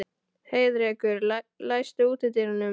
Heiðrekur, læstu útidyrunum.